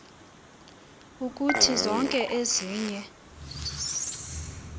kuthi zonke ezinye